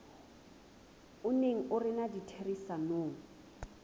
o neng o rena ditherisanong